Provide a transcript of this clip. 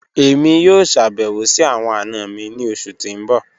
Emi yoo ṣabẹwo si awọn ana mi ni oṣu ti n bọ.